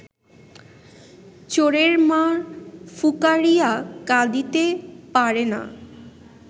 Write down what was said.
চোরের মা ফুকারিয়া কাঁদিতে পারে না